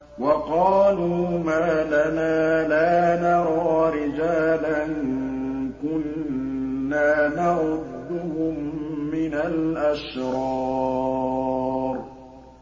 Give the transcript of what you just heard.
وَقَالُوا مَا لَنَا لَا نَرَىٰ رِجَالًا كُنَّا نَعُدُّهُم مِّنَ الْأَشْرَارِ